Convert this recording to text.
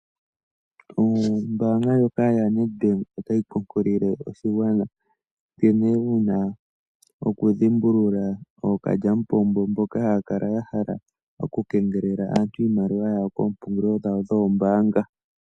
Ombanga ndjoka yaNedbank otayi kunkilile oshigwana nkene wuna oku dhimbulula ookalyamupombo mbokahaya kala ya hala oku kengelela aantu iimaliwa yawo koompungulilo dhawo dhoombanga.